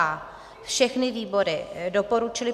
a) všechny výbory doporučily